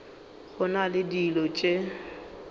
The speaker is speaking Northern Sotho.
go na le dilo tše